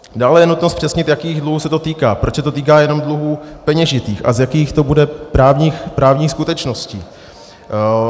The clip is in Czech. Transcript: Dále je nutno zpřesnit, jakých dluhů se to týká, proč se to týká jenom dluhů peněžitých a z jakých to bude právních skutečností.